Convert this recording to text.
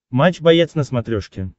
матч боец на смотрешке